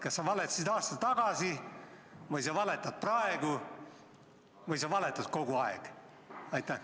Kas sa valetasid aasta tagasi või sa valetad praegu või sa valetad kogu aeg?